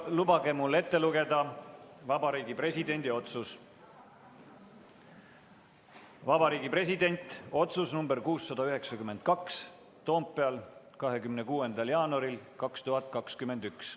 Lubage mul ette lugeda Vabariigi Presidendi otsus: "Vabariigi Presidendi otsus nr 692, Toompeal 26. jaanuaril 2021.